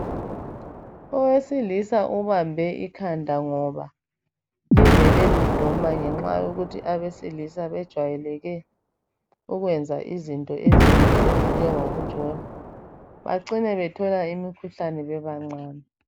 Owesilisa ubambe ikhanda ngoba livele liduma ngenxa yokuthi abesilisa bejwayeleke ukwenza izinto ezimbi ezinjengokujola bacine bethola imikhuhlane bebancane.